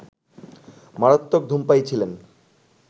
মারাত্মক ধূমপায়ী ছিলেন